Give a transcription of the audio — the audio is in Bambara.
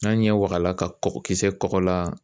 N'an ɲɛ waga la ka kisɛ kɔgɔ la.